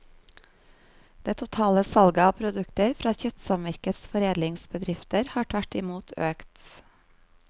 Det totale salget av produkter fra kjøttsamvirkets foredlingsbedrifter har tvert i mot økt.